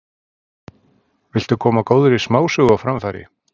Viltu koma góðri smásögu á framfæri?